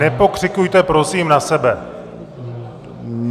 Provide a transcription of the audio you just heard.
Nepokřikujte prosím na sebe!